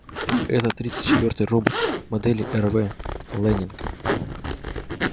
это тридцать четвёртый робот модели рв лэннинг